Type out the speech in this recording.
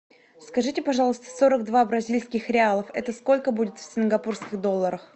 скажите пожалуйста сорок два бразильских реалов это сколько будет в сингапурских долларах